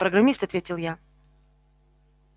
программист ответил я